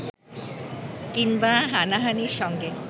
কিংবা হানাহানির সঙ্গে